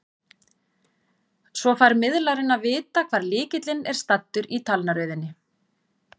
Svo fær miðlarinn að vita hvar lykillinn er staddur í talnaröðinni.